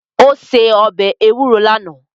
Ó se ọbẹ̀ ewúro lánàá